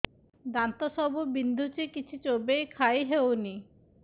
ଦାନ୍ତ ସବୁ ବିନ୍ଧୁଛି କିଛି ଚୋବେଇ ଖାଇ ହଉନି